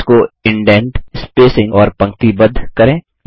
text को indent spacing और पंक्तिबद्ध करें